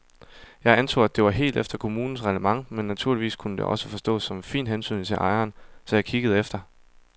Jeg antog, at det var helt efter kommunens reglement men naturligvis kunne det også forstås som en fin hentydning til ejeren, så jeg kiggede efter.